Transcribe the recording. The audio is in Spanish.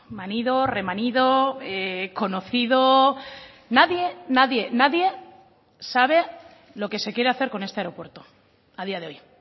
manido remanido conocido nadie nadie nadie sabe lo que se quiere hacer con este aeropuerto a día de hoy